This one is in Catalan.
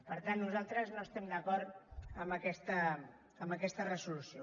per tant nosaltres no estem d’acord amb aquesta resolució